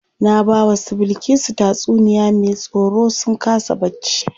Na bawa su Bilkisu tatsuniya me tsoro sun kasa bacci.